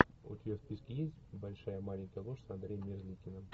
у тебя в списке есть большая маленькая ложь с андреем мерзликиным